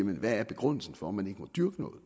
hvad er begrundelsen for at man ikke må dyrke noget